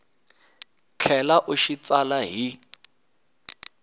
tlhela u xi tsala hi